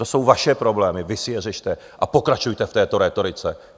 To jsou vaše problémy, vy si je řešte a pokračujte v této rétorice.